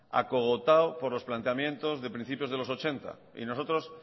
acogotado por los planteamientos de principios de mil novecientos ochenta y nosotros